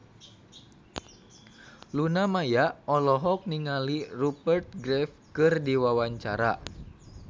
Luna Maya olohok ningali Rupert Graves keur diwawancara